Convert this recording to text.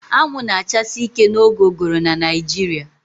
Anwụ na-achasi ike n'oge ụgụrụ na Naịjirịa